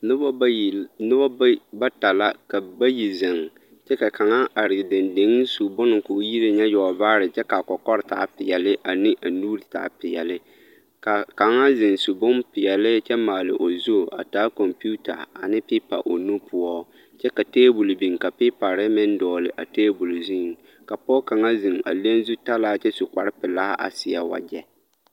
Noba bayi, bata ka bayi zeŋ kyɛ ka kaŋa are dendeŋ su bone k'o yineŋ ŋa yɔgivaare kɔkɔre taa peɛle ane a nuuri taa peɛle ka kaŋa zeŋ su bompeɛle kyɛ maale o zu a taa kɔmpiita ane pipa o nu poɔ kyɛ ka teebol biŋ ka pipare meŋ dɔgele a teebol zuŋ ka pɔge kaŋa zeŋ a le zutalaa kyɛ su kpare pelaa a seɛ wagyɛ.